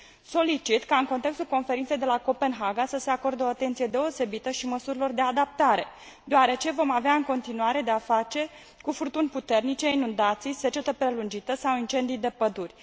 Solicit ca în contextul Conferinței de la Copenhaga să se acorde o atenție deosebită și măsurilor de adaptare, deoarece vom avea în continuare de a face cu furtuni puternice, inundații, secetă prelungită sau incendii de păduri.